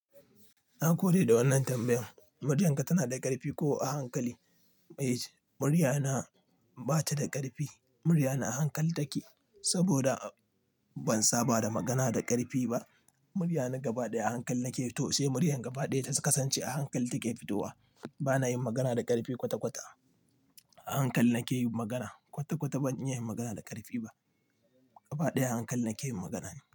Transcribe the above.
Na gode da wannan tambayan, muryan ka tana da ƙarfi ko a hankali? Mai yace, murya na ba ta da ƙarfi, murya na a hankali take saboda ban saba da magana da ƙarfi ba. Murya na gaba ɗaya a hankali nake yi to sai murya gaba ɗaya ta kasance a hankali take fitowa. Ba na yin magana da ƙarfi kwata-kwata. A hankali nake yin magana. Kwata-kwata ban iya yin magana da ƙarfi ba. Gaba ɗaya a hankali nake yin magana ne.